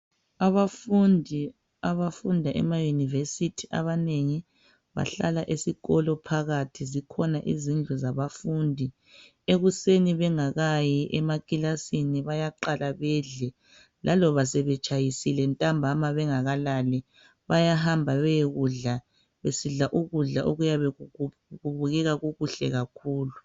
Abafundi abafunda emayunivesithi abanengi bahlala esikolo phakathi, zikhona izindlu zabafundi. Ekuseni bengakayi emakilasini bayaqala bedle, laloba sebetshayisile ntambama bengakalali, bayahamba beyekudla, besidla ukudla kuyabe kubukeka kukuhle kakhulu.